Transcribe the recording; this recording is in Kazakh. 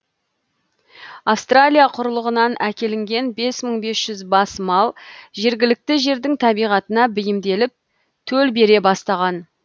австралия құрлығынан әкелінген бес жүз бес мың бас мал жергілікті жердің табиғатына бейімделіп төл бере бастаған